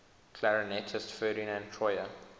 clarinetist ferdinand troyer